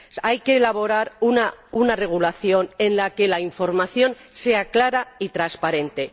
Hay que elaborar una regulación en la que la información sea clara y transparente.